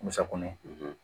Musakɔnɔ